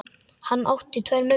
Hann átti tvær mömmur.